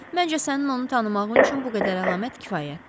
Məncə sənin onu tanımağın üçün bu qədər əlamət kifayətdir.